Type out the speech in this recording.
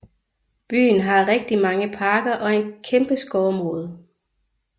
Byen har rigtig mange parker og en kæmpe skovområde